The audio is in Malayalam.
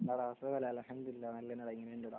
അൽഹംദുലില്ലാഹ്